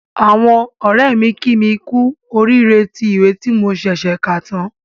Àwọn ọ̀rẹ́ mi kí mi kú oríire tí ìwé tí mo ṣẹ̀ṣẹ̀ kà tán